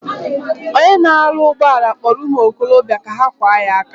Onye na aru ugboala kporo umuokobia ka ha kwa ya aka.